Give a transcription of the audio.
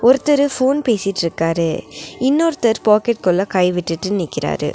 ஒருத்தரு ஃபோன் பேசிட்ருக்காரு இன்னொருத்தர் பாக்கெட்குள்ள கை விட்டுட்டு நிக்கிறாரு.